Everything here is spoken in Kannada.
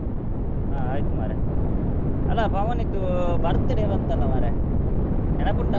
ಆ ಆಯ್ತು ಮರ್ರೆ, ಅಲ್ಲ ಪವನ್ ಅದ್ದು birthday ಬಂತಲ್ಲ ಮರ್ರೆ ನೆನೆಪುಂಟಾ?